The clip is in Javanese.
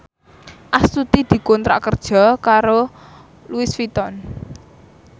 Astuti dikontrak kerja karo Louis Vuitton